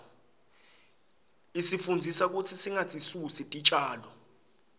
isifundzisa kutsi singatisusi titjalo